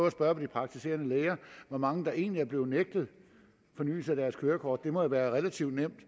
at spørge de praktiserende læger hvor mange der egentlig er blevet nægtet fornyelse af deres kørekort det må jo være relativt nemt